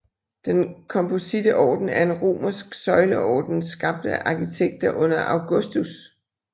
Den kompositte orden er en romersk søjleorden skabt af arkitekter under Augustus